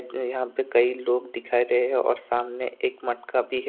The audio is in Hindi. यहां पे कई लोग दिखा रहे है और सामने एक मटका भी है।